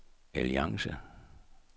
alliance